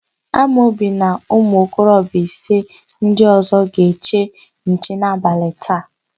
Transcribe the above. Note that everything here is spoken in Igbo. Amobi na ụmụokorobịa ise ndị ọ̀zọ́ ga-eche nche n'abalị taa.